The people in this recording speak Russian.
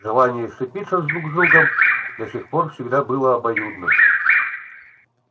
желание сцепиться друг с другом до сих пор всегда было обоюдным